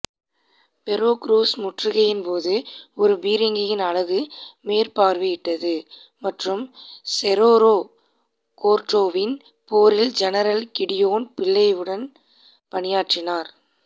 Veracruz முற்றுகையின் போது ஒரு பீரங்கியின் அலகு மேற்பார்வையிட்டது மற்றும் செரோரோ கோர்டோவின் போரில் ஜெனரல் கிடியோன் பிள்ளைவுடன் பணியாற்றினார்